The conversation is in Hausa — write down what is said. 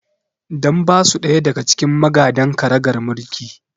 Dan ba su ɗaya daga cikin magadan ƙaragar mulki